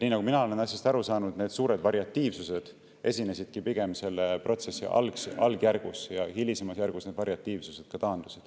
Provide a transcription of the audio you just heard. Nii nagu mina olen asjast aru saanud, esines see suur variatiivsus pigem protsessi algjärgus ja hilisemas järgus variatiivsus taandus.